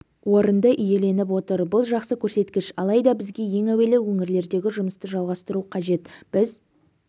орынды иеленіп отыр бұл жақсы көрсеткіш алайда бізге ең әуелі өңірлердегі жұмысты жалғастыру қажет біз